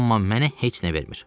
Amma mənə heç nə vermir.